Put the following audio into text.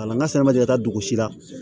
A la n ka sɛnɛ ma deli ka taa dugu si la